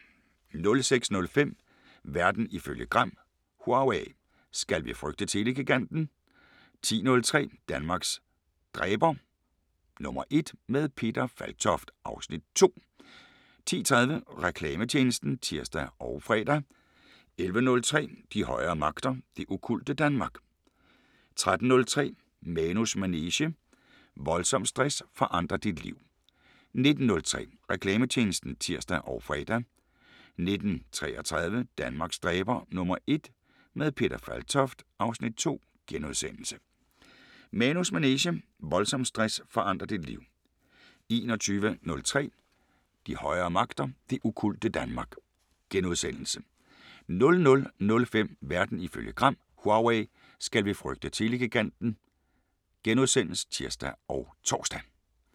06:05: Verden ifølge Gram: Huawei – skal vi frygte telegiganten? 10:03: Danmarks dræber #1 – med Peter Falktoft (Afs. 2) 10:30: Reklametjenesten (tir og fre) 11:03: De højere magter: Det okkulte Danmark 13:03: Manus manege: Voldsom stress forandrer dit liv 19:03: Reklametjenesten (tir og fre) 19:33: Danmarks dræber #1 – med Peter Falktoft (Afs. 2)* 20:03: Manus manege: Voldsom stress forandrer dit liv 21:03: De højere magter: Det okkulte Danmark * 00:05: Verden ifølge Gram: Huawei – skal vi frygte telegiganten? *(tir og tor)